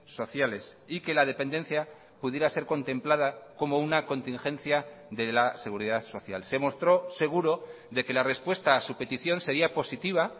sociales y que la dependencia pudiera ser contemplada como una contingencia de la seguridad social se mostró seguro de que la respuesta a su petición sería positiva